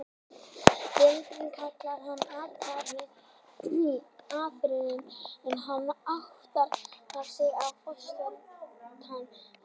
Veröldin kallar hann til athafna og áðuren hann áttar sig er fótfestan horfin.